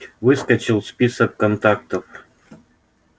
выскочил в список контактов